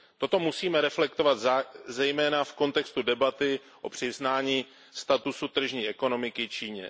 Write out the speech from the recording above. Toto musíme reflektovat zejména v kontextu debaty o přiznání statusu tržní ekonomiky Číně.